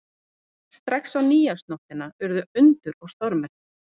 Strax á Nýársnóttina urðu undur og stórmerki.